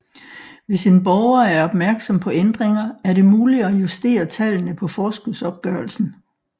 Hvis en borger er opmærksom på ændringer er det muligt at justere tallene på forskudsopgørelsen